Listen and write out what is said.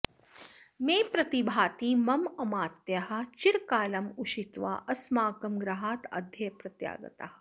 मे प्रतिभाति मम अमात्याः चिरकालम् उषित्वा अस्माकं गृहात् अद्य प्रत्यागताः